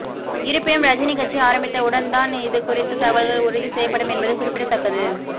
இருப்பினும் ரஜினி கட்சி ஆரம்பித்த உடன் தான் இது குறித்த தகவல்கள் உறுதி செய்யப்படும் என்பது குறிப்பிடத்தக்கது